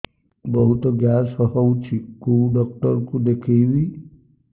ବହୁତ ଗ୍ୟାସ ହଉଛି କୋଉ ଡକ୍ଟର କୁ ଦେଖେଇବି